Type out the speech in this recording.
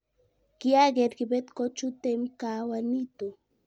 kiaker kibet kochuteimkaawa nito